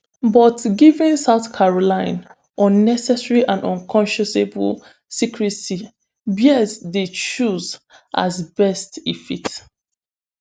but given south caroline unnecessary and unconsciousable secrecy bears dey choose as best e fit